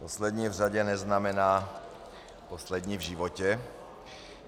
Poslední v řadě neznamená poslední v životě.